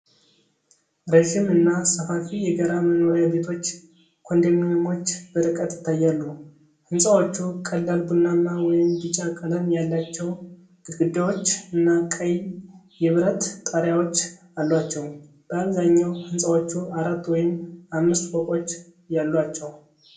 ረዥም እና ሰፋፊ የጋራ መኖሪያ ቤቶች (ኮንዶሚኒየሞች) በርቀት ይታያሉ። ህንጻዎቹ ቀላል ቡናማ ወይም ቢጫ ቀለም ያላቸው ግድግዳዎች እና ቀይ የብረት ጣሪያዎች አሏቸው። በአብዛኛው ህንጻዎቹ አራት ወይም አምስት ፎቆች ያሏቸው።